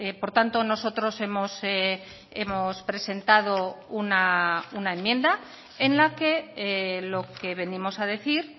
por tanto nosotros hemos presentado una enmienda en la que lo que venimos a decir